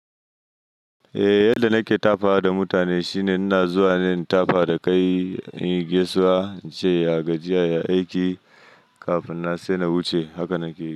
Eh yadda nake tafawa da mutane shine ina zuwa ne in tafa da kai in gaisuwa, in ce ya gajiya ya yi aiki kafin na sai na wuce, haka nake.